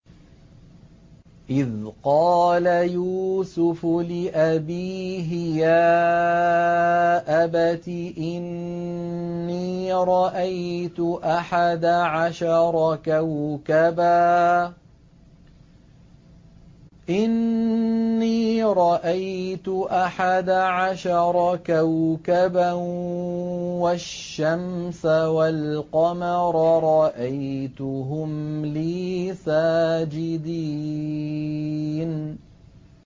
إِذْ قَالَ يُوسُفُ لِأَبِيهِ يَا أَبَتِ إِنِّي رَأَيْتُ أَحَدَ عَشَرَ كَوْكَبًا وَالشَّمْسَ وَالْقَمَرَ رَأَيْتُهُمْ لِي سَاجِدِينَ